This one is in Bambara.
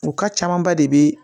U ka camanba de be